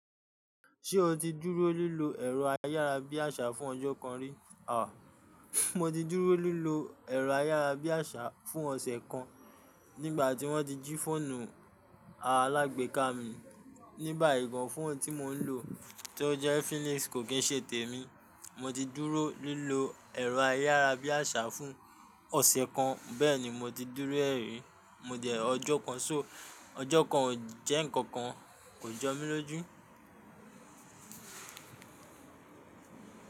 Ṣé o ti dúró lílo ẹ̀rọ ayárabíàṣá fún ọjọ́ kan rí? Àwà. Mo ti dúró lílo ẹ̀rọ ayárabíàṣá fún ọ̀sẹ̀ kan nígbà tí wọ́n jí fóònù alágbeéká mi. Ní báyìí gan, fóònù tí mò ń lò tí ó jẹ́ Infinix kò kì í ṣe tèmi. Mo ti dúró lílo ẹ̀rọ ayárabíàṣá fún ọ̀sẹ̀ kan. Bẹ́ẹ̀ni mo ti dúró é rí, mo dẹ̀ ọjọ́ kan. So ọjọ́ kan ò jẹ́ ǹkankan, kò jọ mí lójú.